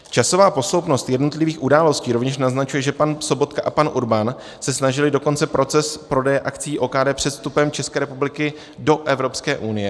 Časová posloupnost jednotlivých události rovněž naznačuje, že pan Sobotka a pan Urban se snažili dokončit proces prodeje akcií OKD před vstupem České republiky do Evropské unie.